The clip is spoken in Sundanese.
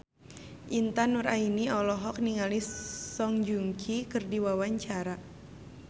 Intan Nuraini olohok ningali Song Joong Ki keur diwawancara